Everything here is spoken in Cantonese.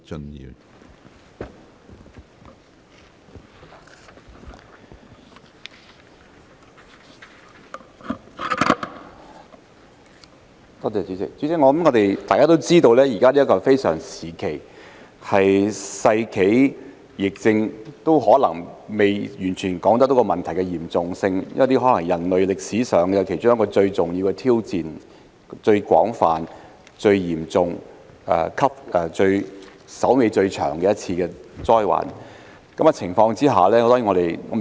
主席，大家都知道現在是一個非常時期，說是世紀疫症也未能完全反映問題的嚴重性，這可能是人類歷史上其中一個最重大的挑戰，是最廣泛、最嚴重、最麻煩的一次災患。